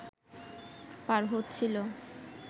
পার হচ্ছিল